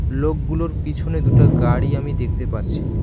লোকগুলোর পিছনে দুইটা গাড়ি আমি দেখতে পাচ্ছি।